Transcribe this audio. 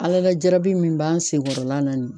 Ala la jarabi min b'an sen kɔrɔla la nin